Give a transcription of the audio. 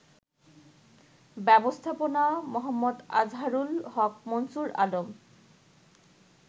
ব্যবস্থাপনা মো. আজহারুল হক, মুনসুর আলম